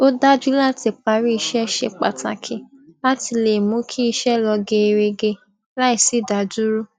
ó dájú láti parí iṣẹ ṣe pàtàkì láti le mú kí iṣẹ lọ geerege láì sí ìdádúró